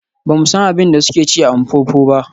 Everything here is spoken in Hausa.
Ba mu san abin da suke ci a Mpopo ba.